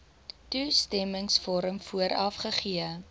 toestemmingsvorm vooraf gegee